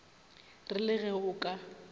re le ge o ka